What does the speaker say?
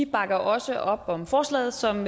bakker også op om forslaget som